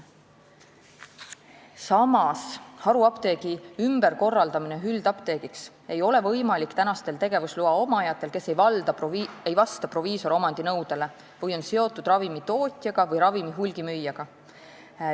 Samas, haruapteegi ümberkorraldamine üldapteegiks ei ole võimalik praegustel tegevusloa omajatel, kes ei vasta proviisoromandi nõudele või on seotud ravimitootjaga või ravimi hulgimüüjaga.